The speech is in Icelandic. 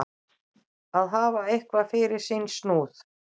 Að hafa eitthvað fyrir sinn snúð